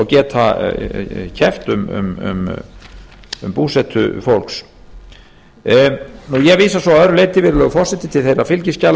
geta keppt um búsetu fólks ég vísa svo að öðru leyti virðulegur forseti til þeirra fylgiskjala